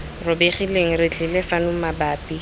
robegileng re tlile fano mabapi